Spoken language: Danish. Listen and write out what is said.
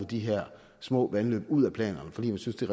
de her små vandløb ud af planerne fordi de synes det